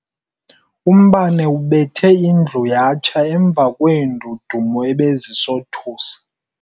Umbane ubethe indlu yatsha emva kweendudumo ebezisothusa.